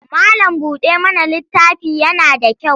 Mallam-buɗa-mana littafi yana da kyau.